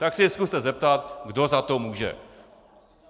Tak se jí zkuste zeptat, kdo za to může.